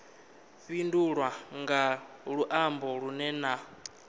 fhindulwe nga luambo lunwe na